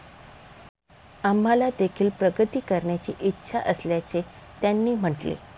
आम्हालादेखील प्रगती करण्याची इच्छा असल्याचे त्यांनी म्हटले.